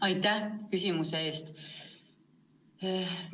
Aitäh küsimuse eest!